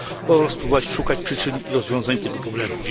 oraz szukać przyczyn i rozwiązań tego problemu.